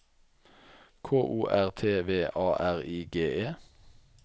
K O R T V A R I G E